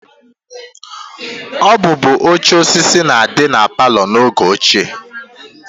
Ọ bụbu oche osisi na-adị na palọ n'oge ochie